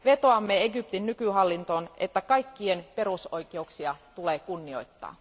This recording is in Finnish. Vetoamme Egyptin nykyhallintoon, että kaikkien perusoikeuksia tulee kunnioittaa.